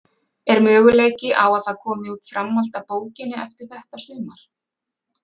Er möguleiki á að það komi út framhald af bókinni eftir þetta sumar?